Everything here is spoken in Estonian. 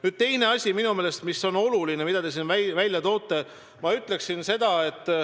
Nüüd teine teie toodud asi, mis ka minu meelest on oluline.